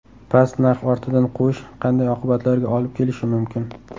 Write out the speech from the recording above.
Past narx ortidan quvish qanday oqibatlarga olib kelishi mumkin?